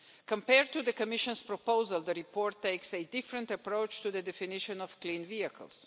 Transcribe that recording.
Compared to the Commission's proposal, the report takes a different approach to the definition of clean vehicles.